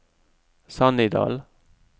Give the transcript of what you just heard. Sannidal